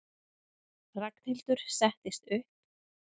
Ragnhildur settist upp.